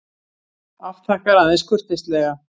Afþakkar aðeins kurteislega.